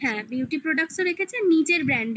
হ্যাঁ beauty product ও রেখেছেন